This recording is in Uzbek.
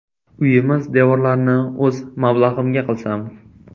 Uyimiz devorlarini o‘z mablag‘imga qilsam.